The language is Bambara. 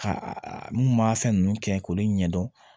Ka a mun m'a fɛn ninnu kɛ k'olu ɲɛdɔn